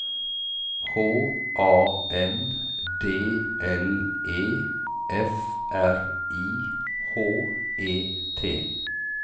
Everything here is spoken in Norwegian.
H A N D L E F R I H E T